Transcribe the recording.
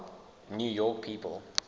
new york people